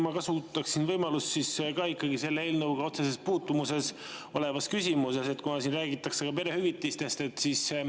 Ma kasutan võimalust ja küsin ka ikkagi selle eelnõuga otseselt puutumuses oleva teema kohta, kuna siin räägitakse ka perehüvitistest.